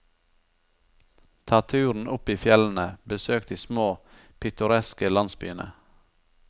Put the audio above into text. Ta turen opp i fjellene, besøk de små, pittoreske landsbyene.